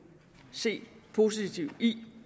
se det positive i